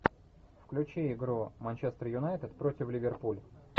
включи игру манчестер юнайтед против ливерпуль